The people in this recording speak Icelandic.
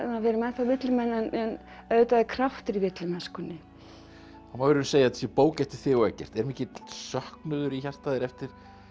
við erum ennþá villimenn en auðvitað er kraftur í villimennskunni það má í raun segja að þetta sé bók eftir þig og Eggert er mikill söknuður í hjarta þér eftir